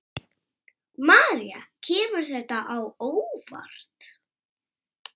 María: Kemur þetta á óvart?